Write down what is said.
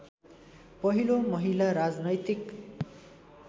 पहिलो महिला राजनैतिक